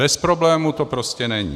Bez problémů to prostě není.